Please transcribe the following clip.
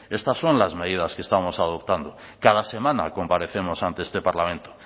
estas son las medidas que estamos adoptando cada semana comparecemos ante este parlamento